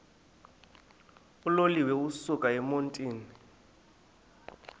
uloliwe ukusuk emontini